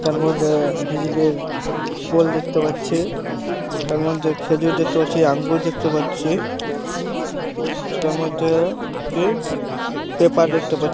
তার মদ্ধে বিজলি পোল দেখতে পাচ্ছিতার মদ্ধে খেজুর দেখতে পাচ্ছি আঙ্গুর দেখতে পাচ্ছি তার মধ্যে কি পেপার দেখতে পাচ্ছি।